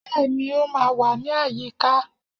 bẹẹni o wa ní àyíká